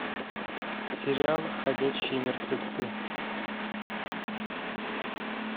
сериал ходячие мертвецы